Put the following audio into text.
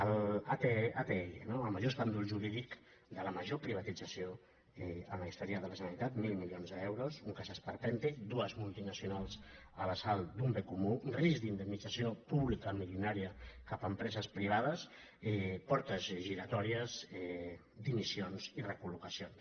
l’atll no el major escàndol jurídic de la major pri·vatització en la història de la generalitat mil mili·ons d’euros un cas esperpèntic dues multinacionals a l’assalt d’un bé comú risc d’indemnització pública milionària cap a empreses privades portes giratòries dimissions i recol·locacions